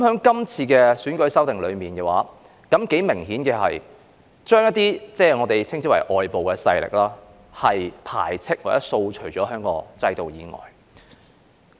今次有關選舉制度的修訂，頗明顯地將一些所謂外部勢力排斥或掃除於香港的制度以外。